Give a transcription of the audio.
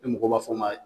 Ni mɔgɔw b'a fɔ ma